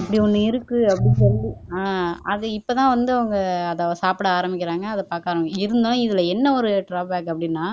இப்படி ஒண்ணு இருக்கு அப்படி சொல்லி ஆஹ் அது இப்பதான் வந்து அவங்க அதை சாப்பிட ஆரம்பிக்கிறாங்க அதை பாக்க ஆரம்பிக்கிறாங்க இதுல என்ன ஒரு ட்ராவ்பக் அப்படின்னா